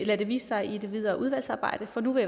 lad det vise sig i det videre udvalgsarbejde for nu vil